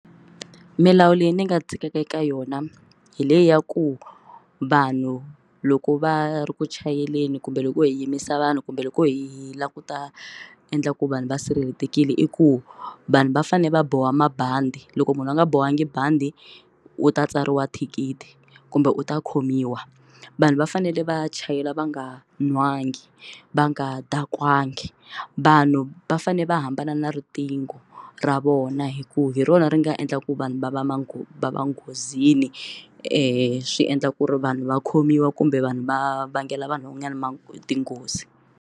Milawu leyi ndzi nga dzikaka eka yona hi leyi ya ku vanhu loko va ri ku chayeleni kumbe loko hi yimisa vanhu kumbe loko hi lava ku ta endla ku vanhu va sirhelelekile i ku vanhu va fanele va boha mabandi loko munhu a nga bohangi bandi u ta tsariwa thikithi kumbe u ta khomiwa vanhu va fanele va chayela va nga nwangi va nga dakwangi vanhu va fanele va hambana na riqingho ra vona hikuva hi rona ri nga endla ku vanhu va va manghezi va nghozini swi endla ku ri vanhu va khomiwa kumbe vanhu va vangela vanhu van'wanyani tinghozi.